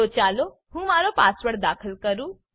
તો ચાલો હું મારો પાસવર્ડ દાખલ કરું